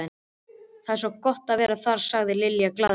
Það er svo gott að vera þar, sagði Lilla glaðlega.